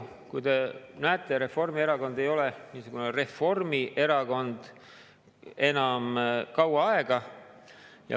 Küllap te näete, et Reformierakond ei ole niisugune reformierakond enam kaua aega.